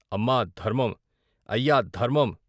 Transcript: అమ్మా ధర్మం ! అయ్యా ధర్మం!